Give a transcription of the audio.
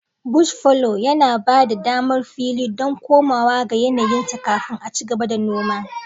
Bush fallow yana ba da damar fili don komawa ga yanayinsa kafin a ci gaba da noma.